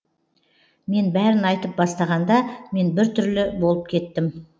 мен бәрін айтып бастағанда мен біртүрлі болып кеттім